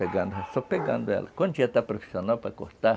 Pegando, só pegando ela quando já está profissional para cortar